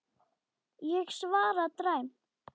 Ég svara dræmt.